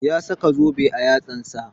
Ya saka zobe a yatsan sa